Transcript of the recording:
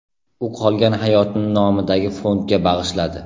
U qolgan hayotini nomidagi fondga bag‘ishladi.